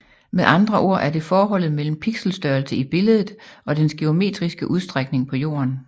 Med andre ord er det forholdet mellem pixelstørrelse i billedet og dens geometriske udstrækning på jorden